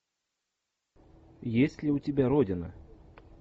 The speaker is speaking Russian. есть ли у тебя родина